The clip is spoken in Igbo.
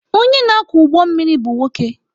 Onye na-akwọ ụgbọ mmiri bụ nwoke.